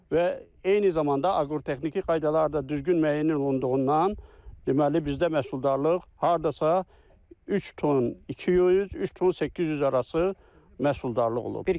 Və eyni zamanda aqrotexniki qaydalar da düzgün müəyyən olunduğundan, deməli bizdə məhsuldarlıq hardasa 3 ton, 200, 300, 800 arası məhsuldarlıq olub.